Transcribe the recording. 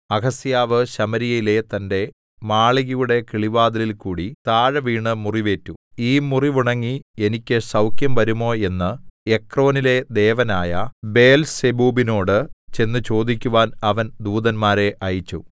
അഹസ്യാവ് ശമര്യയിലെ തന്റെ മാളികയുടെ കിളിവാതിലിൽകൂടി താഴെ വീണ് മുറിവേറ്റു ഈ മുറിവുണങ്ങി എനിക്ക് സൗഖ്യം വരുമോ എന്ന് എക്രോനിലെ ദേവനായ ബേൽസെബൂബിനോട് ചെന്ന് ചോദിക്കുവാൻ അവൻ ദൂതന്മാരെ അയച്ചു